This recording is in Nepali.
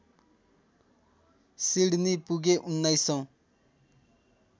सिडनी पुगे उन्नाइसौँ